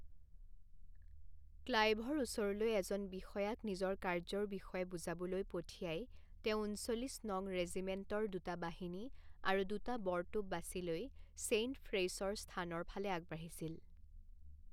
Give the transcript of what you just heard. ক্লাইভৰ ওচৰলৈ এজন বিষয়াক নিজৰ কাৰ্য্যৰ বিষয়ে বুজাবলৈ পঠিয়াই তেওঁ ঊনচল্লিছ নং ৰেজিমেণ্টৰ দুটা বাহিনী আৰু দুটা বৰতোপ বাছি লৈ ছেইণ্ট ফ্ৰেইছৰ স্থানৰ ফালে আগবাঢ়িছিল।